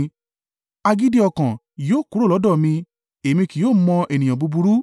Agídí ọkàn yóò kúrò lọ́dọ̀ mi; èmi kì yóò mọ ènìyàn búburú.